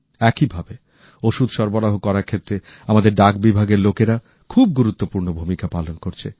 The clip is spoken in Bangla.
একইভাবে ওষুধ সরবরাহ করার ক্ষেত্রে আমাদের ডাক বিভাগের কর্মীরা খুব গুরুত্বপূর্ণ ভূমিকা পালন করছেন